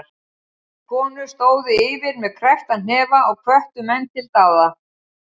Konur stóðu yfir með kreppta hnefa og hvöttu menn til dáða.